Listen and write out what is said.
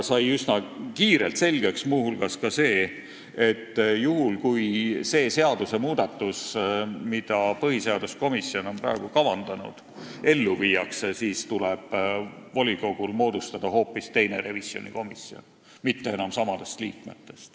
Üsna kiirelt sai muu hulgas selgeks, et juhul kui see seadusmuudatus, mida põhiseaduskomisjon on praegu kavandanud, ellu viiakse, tuleb volikogul moodustada hoopis teine revisjonikomisjon, mis ei koosne enam samadest liikmetest.